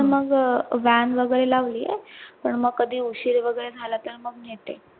मग अं van वगैरे लावली पण मग कधी उशीर वगैरे झाला तर मग नेहते.